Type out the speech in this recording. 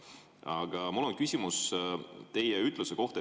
Aga mul on küsimus teie ütluse kohta.